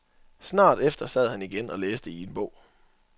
Snart efter sad han igen og læste i en bog.